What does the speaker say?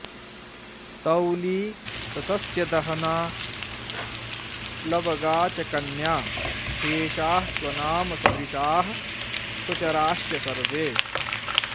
तौली स सस्यदहना प्लवगा च कन्या शेषाः स्वनाम सदृशाः स्वचराश्च सर्वे